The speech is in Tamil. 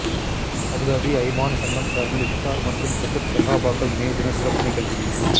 அபுதாபி அய்மான் சங்கம் சார்பில் இஃப்தார் மற்றும் பத்ர் ஸஹாபாக்கள் நினைவு தின சிறப்பு நிகழ்ச்சி